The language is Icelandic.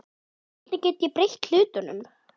Hvernig get ég breytt hlutunum?